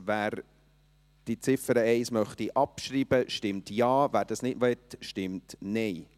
Wer die Ziffer 1 abschreiben möchte, stimmt Ja, wer dies nicht möchte, stimmt Nein.